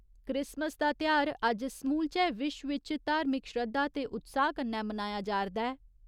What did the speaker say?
Christmas दा तेहार अज्ज समूलचै विश्व इच धार्मिक श्रद्धा ते उत्साह कन्नै मनाया जारदा ऐ।